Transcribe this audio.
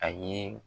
A ye